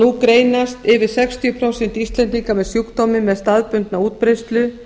nú greinast yfir sextíu prósent íslendinga með sjúkdóminn með staðbundna útbreiðslu